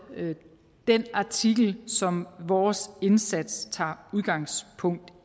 den artikel som vores indsats tager udgangspunkt